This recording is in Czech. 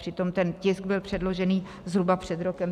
Přitom ten tisk byl předložený zhruba před rokem.